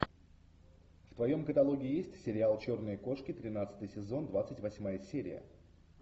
в твоем каталоге есть сериал черные кошки тринадцатый сезон двадцать восьмая серия